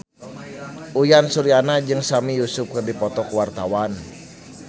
Uyan Suryana jeung Sami Yusuf keur dipoto ku wartawan